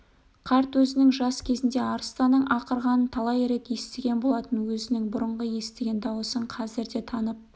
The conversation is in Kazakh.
қарт өзінің жас кезінде арыстанның ақырғанын талай рет естіген болатын өзінің бұрынғы естіген дауысын қазір де танып